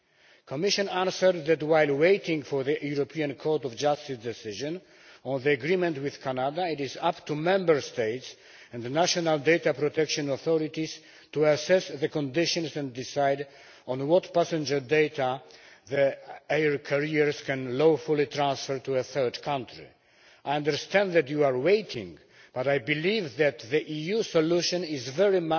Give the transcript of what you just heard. The Commission answered that while waiting for the Court of Justice decision on the agreement with Canada, it is up to Member States and national data protection authorities to assess the conditions and decide on what passenger data their air carriers can lawfully transfer to a third country. I understand that you are waiting, and I believe that the EU solution is very